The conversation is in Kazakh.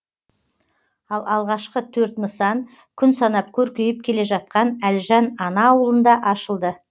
ал алғашқы төрт нысан күн санап көркейіп келе жатқан әлжан ана ауылында ашылды